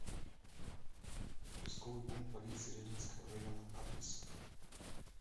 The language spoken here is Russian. участковый пункт полиции ленинского района адрес